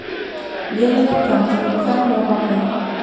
Vélin er í gangi og ég fel mig á bakvið hann.